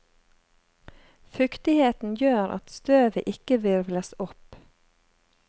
Fuktigheten gjør at støvet ikke hvirvles opp.